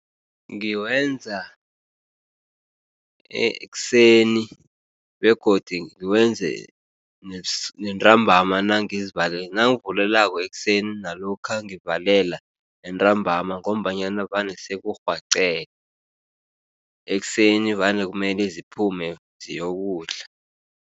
Ngiwenza ekuseni begodu ngiwenze nentambama nangivulelako ekuseni nalokha ngivalela entambama ngombanyana vane sekurhwaqele, ekuseni vane kumele ziphume ziyokudla.